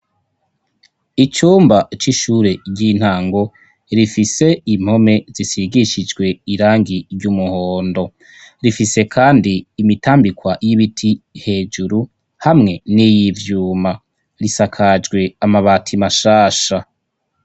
icumba c'ishure ry'intango rifise impome zisigishijwe irangi ry'umuhondo rifise kandi imitambikwa y'ibiti hejuru hamwe n'iyivyuma risakajwe amabati mashasha